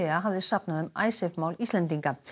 hafði safnað um Icesave mál Íslendinga